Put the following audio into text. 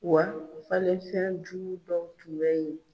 Wa o falen fɛn jugu dɔw tun bɛ yen